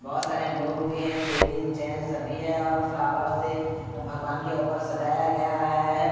बहोत सारे लोग भी हैं लेडिस जेंट्स सभी है और फ्लावर से भगवान के ऊपर सजाया गया है।